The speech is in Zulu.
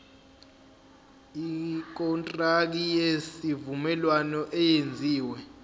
ikontraki yesivumelwano eyenziwe